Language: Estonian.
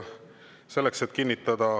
Selleks, et kinnitada …